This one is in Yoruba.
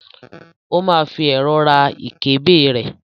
ó ma fi ẹ̀rọ̀ ra ìkébè rẹ̀.